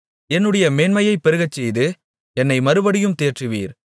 என்னுடைய மேன்மையைப் பெருகச்செய்து என்னை மறுபடியும் தேற்றுவீர்